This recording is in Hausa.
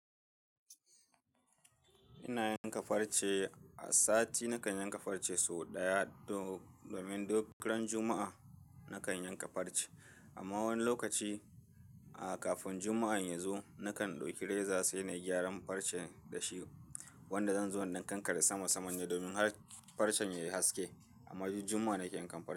Ina yanka farce, a sati nakan yanka farce sau ɗaya domin dogaran Juma'a nakan yanka farce. Amma wani lokaci, a kafin Juma'ar yazo, nakan ɗauki reza sai na gyaran farce da shi wanda zan zo na kankare sama saman ne domin har farcen ya haske. Amma duk Jumma'a nake yankan farce.